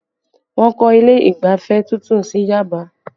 Wọ́n kọ́ ilé ìgbafẹ́ tuntun sí Yaba